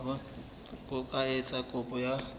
ka ho etsa kopo ya